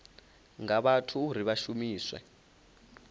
nga vhathu uri vha shumiswe